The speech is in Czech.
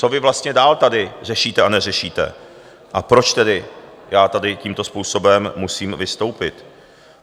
Co vy vlastně dál tady řešíte a neřešíte a proč tedy já tady tímto způsobem musím vystoupit.